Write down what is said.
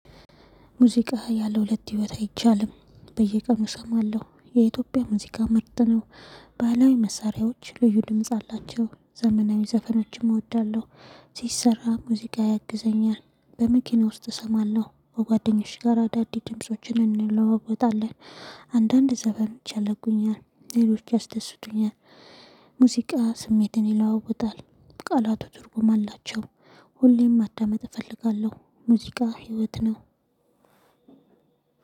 ሙዚቃ ያለ ሁለት ህይወት አይቻልም በየቀኑ እሰማለሁ የኢትዮጵያ ሙዚቃ መርጠነው። ባህላዊ መሳሪያዎች ልዩ ድምጽ አላቸው ዘመናዊ ዘፈኖችም እወዳለሁ ሲሰራ ሙዚቃ ያግዘኛል በመኪና ውስጥ እሰማለሁ በጓደኛች ጋር አዳዲስ ድምፆችን እንለዋወጣለን አንዳንድ ዘፈኖች ያደርቁኛል ሌሎች ያስደስቱኛል ሙዚቃ ስሜትን ይለዋወጣል ቃላቱ ትርጉም አላቸው ሁሌም ማዳመጥ እፈልጋለሁ ሙዚቃ ህይወት ነው።